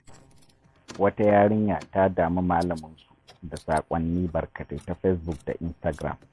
Wata yarinya ta dami malamunsu da saƙwanni barkatai ta facebook da Instagram.